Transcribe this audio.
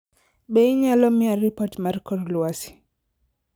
Be inyalo miya ripot mar kor lwasi